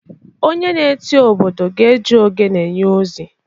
onye na-eti obodo ga-eji ogene nye ozi